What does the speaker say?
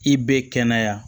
I bɛ kɛnɛya